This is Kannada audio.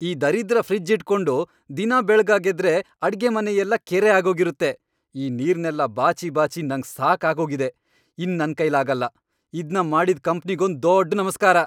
ಈ ದರಿದ್ರ ಫ್ರಿಜ್ಜ್ ಇಟ್ಕೊಂಡು ದಿನಾ ಬೆಳ್ಗಾಗೆದ್ರೆ ಅಡ್ಗೆಮನೆಯೆಲ್ಲ ಕೆರೆ ಆಗೋಗಿರತ್ತೆ, ಆ ನೀರ್ನೆಲ್ಲ ಬಾಚಿ ಬಾಚಿ ನಂಗ್ ಸಾಕಾಗೋಗಿದೆ, ಇನ್ನ್ ನನ್ಕೈಲಾಗಲ್ಲ. ಇದ್ನ ಮಾಡಿದ್ ಕಂಪ್ನಿಗೊಂದ್ ದೊಡ್ ನಮ್ಸ್ಕಾರ!